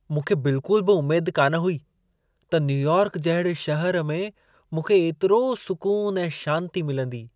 मूंखे बिल्कुल बि उमेद कान हुई त न्यूयॉर्क जहिड़े शहर में मूंखे एतिरो सुकून ऐं शांती मिलंदी।